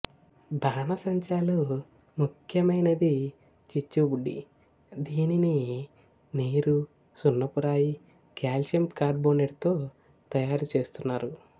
బాణాసంచా లో ముఖ్హ్యమైన ది చిచ్చు బుడ్డి దీనిని నీరు సున్నపు రాయికల్సియం కార్బోనేట్ తో తయారు చేస్తున్నారు